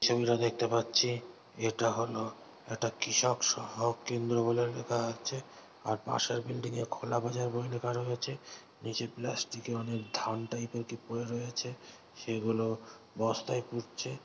ছবিটা দেখতে পাচ্ছি এটা হল একটা কৃষক সহয়ক কেন্দ্র বলে লেখা আছে। আর পাশের বিল্ডিং -এর খোলা বাজার বলে লেখা রয়েছে নিচে প্লাস্টিক -এর অনেক ধান টাইপ -এর কি পরে রয়েছে সেগুলো বস্তায় পুরছে ।